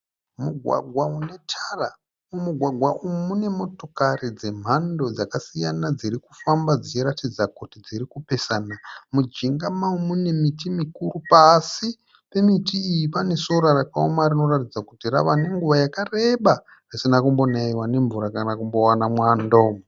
Mugwagwa unetara mumugwagwa umu munemotokari dzemhando dzakasiyana dzirikufamba dzichiratidza kuti dzirikupesana. Mujinga mawo munemiti mikuru, pasi pemiti iyi panesora rakaoma rinoratidza kuti ravanenguva yakareba risina kumbonaiwa nemvura kana kumbowana mwando.